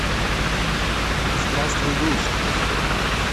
здравствуй грусть